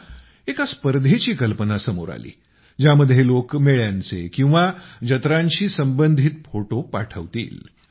तेव्हा एका स्पर्धेची कल्पना समोर आली ज्यामध्ये लोक मेळ्यांचे वा जत्रांशी संबंधित फोटो प्रसिद्ध करतील